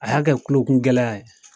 A y'a kɛ kulokun gɛlɛya ye.